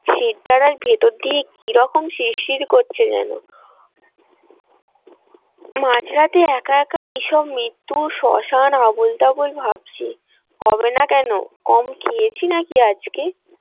শিরদাঁড়ার ভিতর দিয়ে কিরকম শির শির করছে যেন মাঝরাতে একা একা কিসব মৃত্যু শ্মশান আবোলতাবোল ভাবছি হবে না কেনো কম খেয়েছি নাকি আজকে।